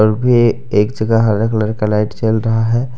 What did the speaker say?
एक जगह हरा कलर का लाइट जल रहा है।